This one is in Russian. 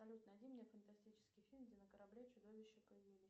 салют найди мне фантастический фильм где на корабле чудовища появились